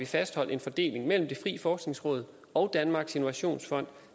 fastholdt en fordeling mellem det frie forskningsråd og danmarks innovationsfond